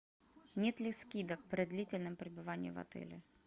нет ли скидок при длительном пребывании в отеле